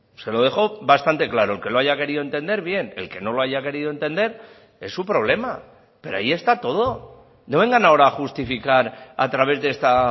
se lo dejó bastante claro el que lo haya querido entender bien el que no lo haya querido entender es su problema pero ahí está todo no vengan ahora a justificar a través de esta